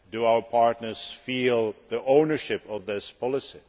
Do our partners feel they have ownership of this policy?